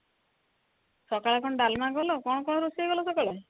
ସକାଳେ କଣ ଡାଲମା କଲା କଣ କଣ ରୋଷେଇ କଲା ସକାଳେ ?